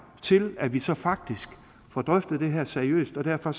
til at vi så faktisk får drøftet det her seriøst og derfor